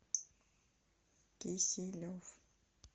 киселев